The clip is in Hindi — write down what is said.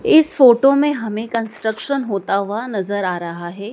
इस फोटो में हमे कंस्ट्रक्शन होता हुआ नजर आ रहा हैं।